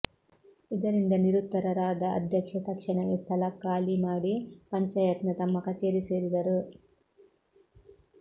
ಇದರಿಂದ ನಿರುತ್ತರರಾದ ಅಧ್ಯಕ್ಷೆ ತಕ್ಷಣವೇ ಸ್ಥಳ ಖಾಲಿ ಮಾಡಿ ಪಂಚಾಯತ್ನ ತಮ್ಮ ಕಚೇರಿ ಸೇರಿದರು